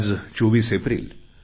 आज 24 एप्रिल